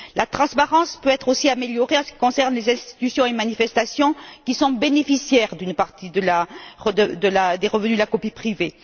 La transparence peut être aussi améliorée en ce qui concerne les institutions et manifestations qui sont bénéficiaires d'une partie des revenus de la copie privée.